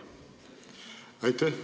Aitäh!